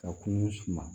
Ka kungo suma